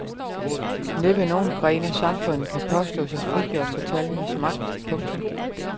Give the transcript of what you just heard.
Næppe nogen gren af samfundet kan påstå sig frigjort for tallenes magt. punktum